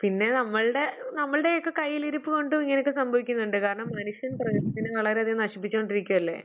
പിന്നെ നമ്മൾടെ നമ്മൾടെയൊക്കെ കയ്യിലിരുപ്പു കൊണ്ടും ഇങ്ങനെയൊക്കെ സംഭവിക്കുന്നുണ്ട്. കാരണം, മനുഷ്യൻ പ്രകൃതിയെ വളരെയധികം നശിപ്പിച്ചു കൊണ്ടിരിക്കുകയല്ലേ?